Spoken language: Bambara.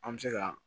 An bɛ se ka